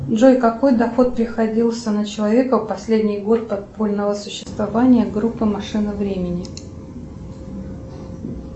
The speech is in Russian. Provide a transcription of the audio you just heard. джой какой доход приходился на человека в последний год подпольного существования группы машины времени